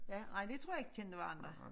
Ja ej de tror jeg ikke kendte hverandre